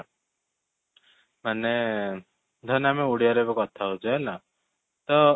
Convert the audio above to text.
ମାନେ ଧରିନିଅ ଆମେ ଓଡ଼ିଆ ରେ ଏବେ କଥା ହଉଛେ ହେଲା ତ